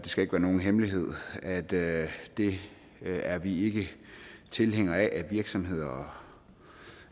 skal ikke være nogen hemmelighed at det er vi ikke tilhængere af at virksomheder